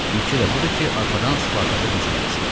Fikri də budur ki, arxadan Spartaka hücum eləsin.